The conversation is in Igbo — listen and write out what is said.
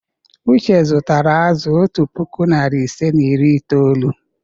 Uche zụtara azụ̀ otu puku, narị ise na iri ise na itoolu.